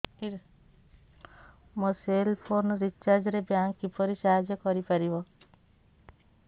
ମୋ cell phone recharge ରେ bank କିପରି ସାହାଯ୍ୟ କରିପାରିବ